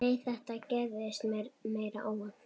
Nei, þetta gerðist meira óvart.